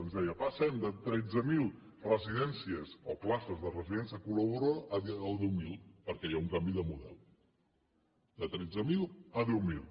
ens deia passem de tretze mil residències o places de residència col·laboradora a deu mil perquè hi ha un canvi de model de tretze mil a deu mil